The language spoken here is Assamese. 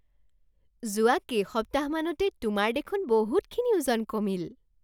যোৱা কেইসপ্তাহমানতে তোমাৰ দেখোন বহুতখিনি ওজন কমিল!